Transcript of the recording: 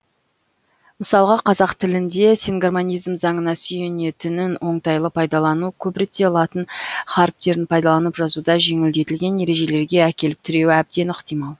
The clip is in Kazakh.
мысалға қазақ тілінде сингармонизм заңына сүйенетінін оңтайлы пайдалану көп ретте латын харіптерін пайдаланып жазуда жеңілдетілген ережелерге әкеліп тіреуі әбден ықтимал